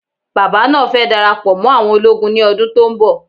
Bàbá náà fẹ dara pọ mó àwọn ológun ní ọdún tó ń bọ̀